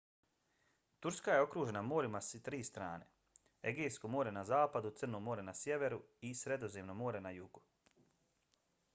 turska je okružena morima s tri strane: egejsko more na zapadu crno more na sjeveru i sredozemno more na jugu